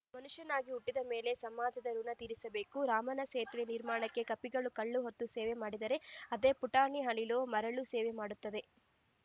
ಮನುಷ್ಯನಾಗಿ ಹುಟ್ಟಿದ ಮೇಲೆ ಸಮಾಜದ ಋುಣ ತೀರಿಸಬೇಕು ರಾಮನ ಸೇತುವೆ ನಿರ್ಮಾಣಕ್ಕೆ ಕಪಿಗಳು ಕಲ್ಲು ಹೊತ್ತು ಸೇವೆ ಮಾಡಿದರೆ ಅದೇ ಪುಟಾಣಿ ಅಳಿಲು ಮರಳು ಸೇವೆ ಮಾಡುತ್ತದೆ